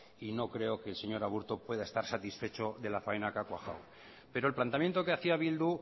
y no creo que el señor aburto pueda estar satisfecho de la faena que ha cuajado pero el planteamiento que hacía bildu